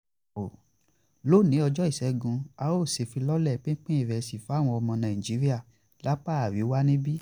lónìí ọjọ́ ìṣẹ́gun à o ṣèfilọ́lẹ̀ pinpin ìrẹsì fáwọn ọmọ nàìjíríà lápá àríwá níbí